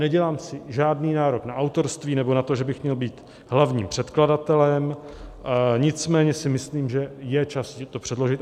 Nedělám si žádný nárok na autorství nebo na to, že bych měl být hlavním předkladatelem, nicméně si myslím, že je čas ji předložit.